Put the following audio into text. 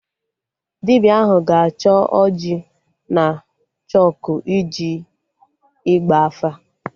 Dibịa ahụ ga-achọ ọjị na chọkụ iji Ịgba afa